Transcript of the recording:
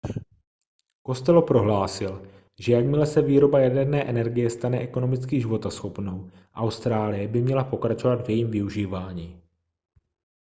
costello prohlásil že jakmile se výroba jaderné energie stane ekonomicky životaschopnou austrálie by měla pokračovat v jejím využívání